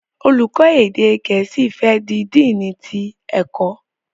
Olùkó gèésì fè di Dínni tí ẹkọ.